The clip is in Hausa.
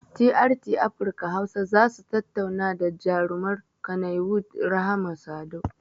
TRT afirka hausa zasu tattauna da jarumar kaniwud rahama sadau